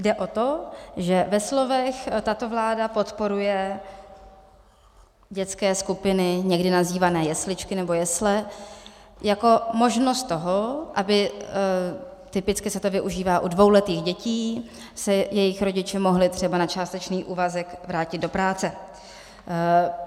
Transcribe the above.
Jde o to, že ve slovech tato vláda podporuje dětské skupiny, někdy nazývané jesličky nebo jesle, jako možnost toho, aby - typicky se to využívá o dvouletých dětí - se jejich rodiče mohli třeba na částečný úvazek vrátit do práce.